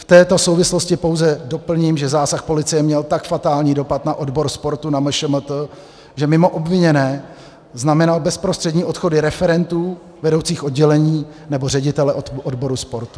V této souvislosti pouze doplním, že zásah policie měl tak fatální dopad na odbor sportu na MŠMT, že mimo obviněné znamenal bezprostřední odchody referentů, vedoucích oddělení nebo ředitele odboru sportu.